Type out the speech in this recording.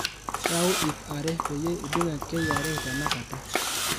yaau iip are peyie idung kra tenakata